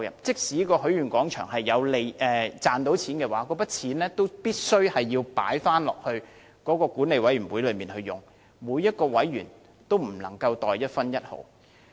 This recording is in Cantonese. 即使許願廣場能賺取金錢，這些金錢亦必須退回，供管理委員會使用，每名委員均不能袋入一分一毫。